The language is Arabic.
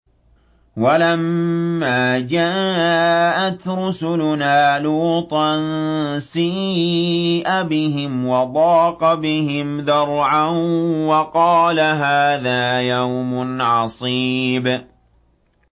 وَلَمَّا جَاءَتْ رُسُلُنَا لُوطًا سِيءَ بِهِمْ وَضَاقَ بِهِمْ ذَرْعًا وَقَالَ هَٰذَا يَوْمٌ عَصِيبٌ